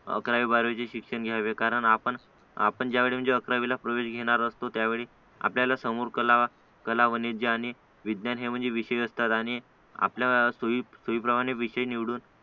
काय बारावीचे शिक्षण घ्यावे कारण आपण ज्यावेळेस अकरावीला प्रवेश घेणार असतो त्यावेळी आपल्याला समोर कला कला वाणिज्य आणि विज्ञान हे विषय असतात आणि आपल्या सोयी सोयीप्रमाणे विषय निवडून